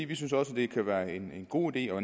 vi synes også det kan være en god idé og